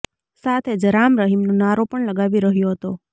સાથે જ રામ રહીમનો નારો પણ લગાવી રહ્યો હતો